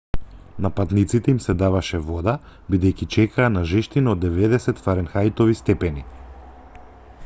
на патниците им се даваше вода бидејќи чекаа на жештина од 90 фаренхајтови степени